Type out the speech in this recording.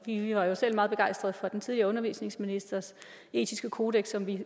i vi var jo selv meget begejstrede for den tidligere undervisningsministers etiske kodeks som vi